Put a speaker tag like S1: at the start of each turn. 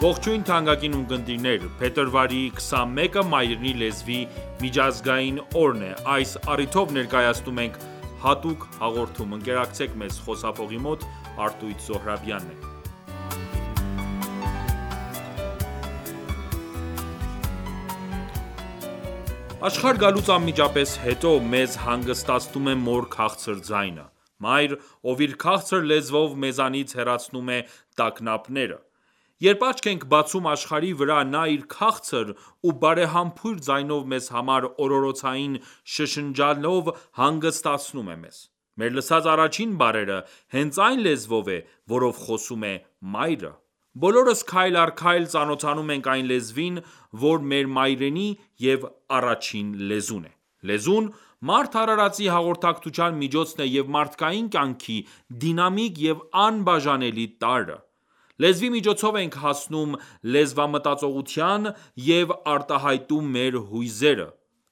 S1: Ողջույն թանկագին ունկնդիրներ, փետրվարի 21-ը Մայրենի լեզվի միջազգային օրն է: Այս առիթով ներկայացնում ենք հատուկ հաղորդում: Աշխարհ գալուց անմիջապես հետո ,մեզ հանգստացնում է մոր քաղցր ձայնը: Մայր, ով իր քաղցր լեզվով ,մեզանից հեռացնում է տագնապները: Երբ աչք ենք բացում աշխարհի վրա ,նա իր քաղցր ու բարեհամբույր ձայնով մեզ համար օրօրոցային շշնջանլով հանգստացնում է մեզ: Մեր լսած առաջին բառերը ,հենց այն լեզվով է, որով խոսում է մայրը: Բոլորս քայլ առ քայլ ծանոթանում ենք այն լեզվին ,որը մեր մայրենի և առաջին լեզուն է: Լեզուն, մարդ արարածի հաղորդակցության միջոցն է և մարդկային կյանքի դինամիկ և անբաժանելի տարրը:Լեզվի միջոցով ենք հասնում լեզվամտածողության և արտահայտում մեր հույզերը: